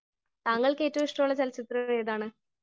Speaker 1 താങ്കൾക്ക് ഏറ്റവും ഇഷ്ടമുള്ള ചലച്ചിത്രം ഏതാണ് ?